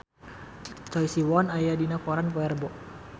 Choi Siwon aya dina koran poe Rebo